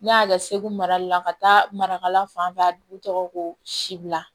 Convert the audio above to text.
Ne y'a kɛ segu marali la ka taa marakala fan bɛɛ a dugu tɔgɔ ko sibila